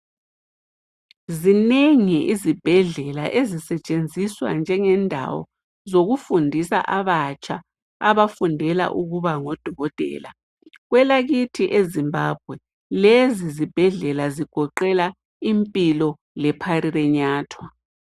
Zinengi izibhedlela ezisetshenziswa njengendawo zokufundisa abatsha abafundela ukuba ngodokotela. Kwelakithi eZimbabwe lezi zibhedlela zigoqela impilo le parirenyathwa.